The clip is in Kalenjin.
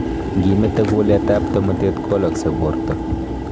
Ngimetee kulet ab tomotet kowalaksei borta